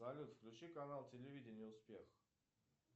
салют включи канал телевидения успех